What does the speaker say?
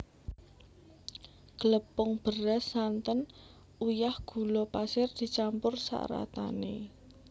Glepung beras santen uyah gula pasir dicampur saratané